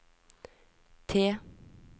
T